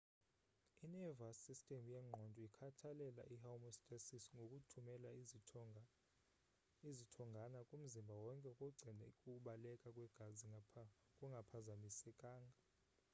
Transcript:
i-nervouse system yengqondo ikhathalela i-homestasis ngokuthumela izithongana kumzimba wonke ukugcina ukubaleka kwegazi kungaphazamisekanga